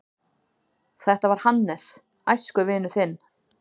Þetta var Hannes, æskuvinur þinn.